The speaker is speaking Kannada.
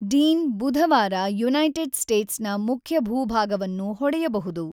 ಡೀನ್ ಬುಧವಾರ ಯುನೈಟೆಡ್ ಸ್ಟೇಟ್ಸ್ ನ ಮುಖ್ಯ ಭೂಭಾಗವನ್ನು ಹೊಡೆಯಬಹುದು.